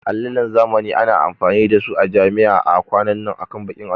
Allinan zamani ana amfani da su a jami'a a kwanan nan akan bakin allo